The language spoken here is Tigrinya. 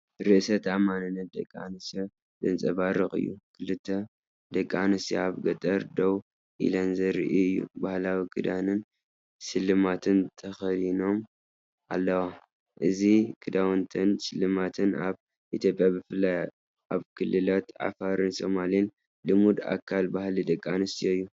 ርእሰ ተኣማንነት ደቂ ኣንስትዮ ዘንጸባርቕ እዩ። ክልተ ደቂ ኣንስትዮ ኣብ ገጠር ደው ኢለን ዘርኢ እዩ። ባህላዊ ክዳንን ስልማትን ተኸዲኖም ኣለዉ። እዚ ክዳውንትን ስልማትን ኣብ ኢትዮጵያ ብፍላይ ኣብ ክልላት ዓፋርን ሶማልን ልሙድ ኣካል ባህሊ ደቂ ኣንስትዮ እዩ።